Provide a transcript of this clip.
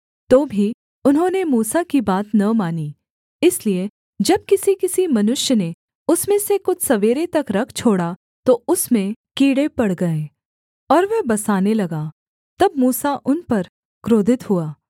तो भी उन्होंने मूसा की बात न मानी इसलिए जब किसी किसी मनुष्य ने उसमें से कुछ सवेरे तक रख छोड़ा तो उसमें कीड़े पड़ गए और वह बसाने लगा तब मूसा उन पर क्रोधित हुआ